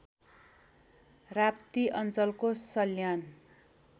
राप्ती अञ्चलको सल्यान